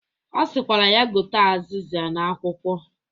Ọ sịkwara ya gote azizia na akwụkwọ